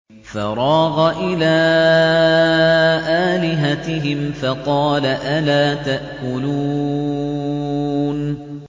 فَرَاغَ إِلَىٰ آلِهَتِهِمْ فَقَالَ أَلَا تَأْكُلُونَ